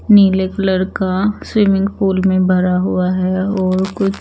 नीले कलर का swimming pool में भरा हुआ है और कुछ--